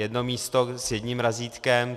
Jedno místo s jedním razítkem.